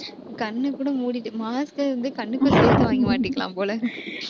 கண்ணைக்கூட மூடிட்டு mask அ வந்து கண்ணுக்குள்ளே மாட்டிக்கலாம் போல.